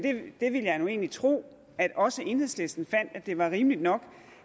egentlig tro at også enhedslisten finder det rimeligt nok